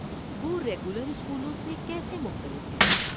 وہ ریگولر اسکولوں سے کیسے مختلف ہیں؟